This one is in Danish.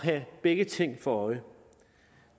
have begge ting for øje